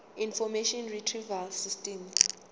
information retrieval system